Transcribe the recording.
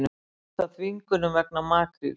Hóta þvingunum vegna makríls